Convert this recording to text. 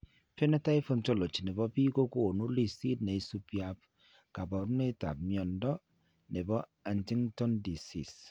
Phenotype Ontology ne po biik ko konu listiit ne isubiap kaabarunetap mnyando ne po Huntington disease.